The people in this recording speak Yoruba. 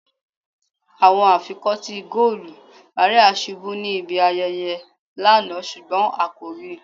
Awọn afikọti goolu Maria ṣubu ni ibi ayẹyẹ lana ṣugbọn a ko rii